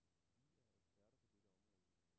Vi er eksperter på dette område.